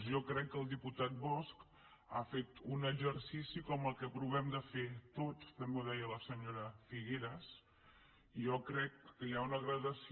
jo crec que el diputat bosch ha fet un exercici com el que provem de fer tots també ho deia la senyora figueras i jo crec que hi ha una degradació